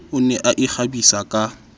o ne a ikgabisa ka